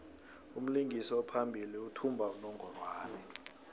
umlingisi ophambili uthumba unongorwand